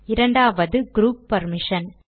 இரண்டாவது group permission